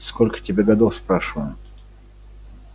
сколько тебе годов спрашиваю